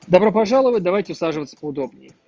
добро пожаловать давайте усаживаться поудобней